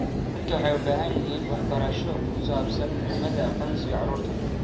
Dadku waxay u baahan yihiin waxbarasho ku saabsan muhiimadda aqoonsiga carruurta.